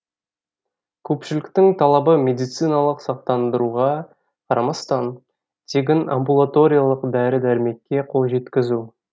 көпшіліктің талабы медициналық сақтандыруға қарамастан тегін амбулаториялық дәрі дәрмекке қол жеткізу